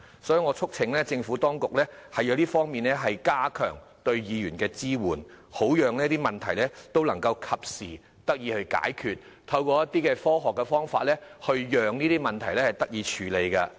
所以，我促請政府當局在這方面加強對區議員的支援，好讓這些問題能夠及時得以解決，並可以透過一些科學方法處理這些問題。